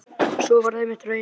Sú varð einmitt raunin.